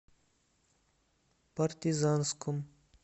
партизанском